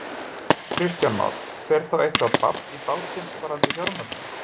Kristján Már: Fer þá eitthvað babb í bátinn varðandi fjármögnun?